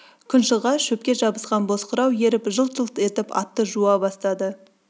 күн шыға шөпке жабысқан боз қырау еріп жылт-жылт етіп атты жуа бастады